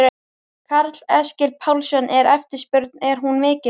Karl Eskil Pálsson: Er eftirspurnin, er hún mikil?